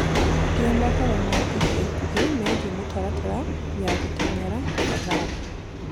gia mohoro ma ĩca ĩkũhĩ meegĩe mũtaratara ya guteng'era tafadhalĩ